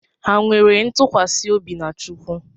Ha nwere ntụkwasị obi na Chukwu?